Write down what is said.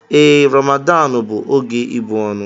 Ee, Ramadanu bụ oge ịbụ ọnụ.